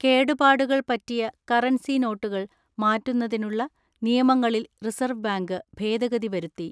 കേടുപാടുകൾ പറ്റിയ കറൻസി നോട്ടുകൾ മാറ്റുന്നതിനുള്ള നിയമങ്ങളിൽ റിസർവ് ബാങ്ക് ഭേദഗതി വരുത്തി.